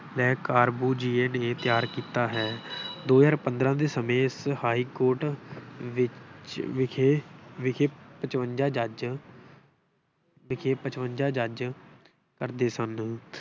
ਨੇ ਤਿਆਰ ਕੀਤਾ ਹੈ। ਦੋ ਹਜ਼ਾਰ ਪੰਦਰਾ ਦੇ ਸਮੇਂ ਇਸ ਹਾਈਕੋਰਟ ਵਿੱਚ ਵਿਖੇ ਵਿਖੇ ਪਚਵੰਜ਼ਾ ਜੱਜ ਵਿਖੇ ਪਚਵੰਜ਼ਾ ਜੱਜ ਕਰਦੇ ਸਨ।